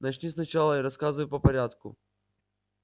начни сначала и рассказывай по порядку